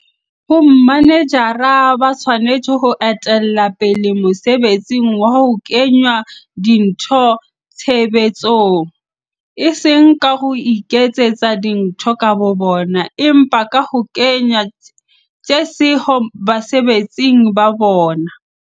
Bomanejara ba tshwanetse ho etella pele mosebetsing wa ho kenya dintho tshebetsong, e seng ka ho iketsetsa dintho ka bobona, empa ka ho kenya tjheseho basebetsing ba bona.